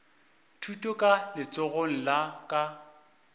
thuto ka letsogong la ka